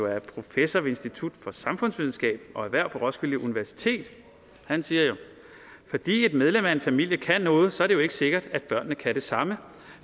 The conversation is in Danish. er professor ved institut for samfundsvidenskab og erhverv på roskilde universitet som siger fordi et medlem af en familie kan noget så er det jo ikke sikkert at børnene kan det samme